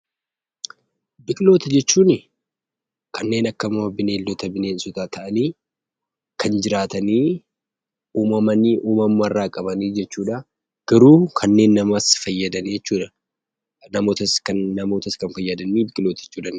Biqiltoota jechuun kanneen akka bineeldota, bineensota ta'anii kan jiraatanii, uumamanii uumama irraa qaban jechuudha. Garuu kanneen namas fayyadan jechuudha. Namootas kan fayyadan biqiloota jechuu dandeenya.